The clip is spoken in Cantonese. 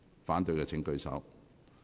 反對的請舉手。